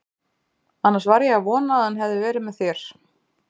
Annars var ég að vona að hann hefði verið með þér.